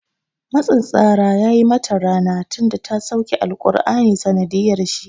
Matsin tsara ya yi mata rana tinda ta sauke alƙurani ta sanadiyar shi